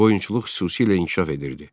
Qoyunçuluq xüsusilə inkişaf edirdi.